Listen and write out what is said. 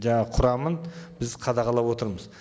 жаңағы құрамын біз қадағалап отырмыз